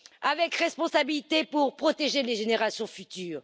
avec responsabilité pour protéger les générations futures.